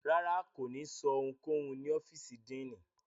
Rárá, ko ni sọ ohunkohun ni ọfiisi Diini